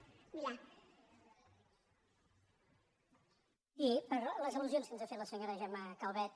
sí per les al·lusions que ens ha fet la senyora gemma calvet